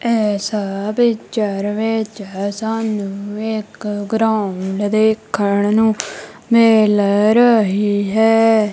ਇਸ ਪਿਕਚਰ ਵਿੱਚ ਸਾਨੂੰ ਇੱਕ ਗਰਾਊਂਡ ਦੇਖਣ ਨੂੰ ਮਿਲ ਰਹੀ ਹੈ।